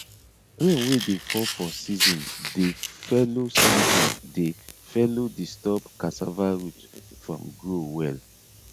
rain wey dey fall for season dey fellow season dey fellow disturb cassava root from grow well